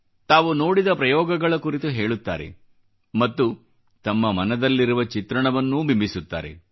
ತಾವು ನೋಡಿದ ಪ್ರಯೋಗಗಳ ಕುರಿತು ಹೇಳುತ್ತಾರೆ ಮತ್ತು ತಮ್ಮ ಮನದಲ್ಲಿರುವ ಚಿತ್ರಣವನ್ನೂ ಬಿಂಬಿಸುತ್ತಾರೆ